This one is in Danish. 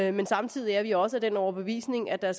i den samtidig er vi også af den overbevisning at der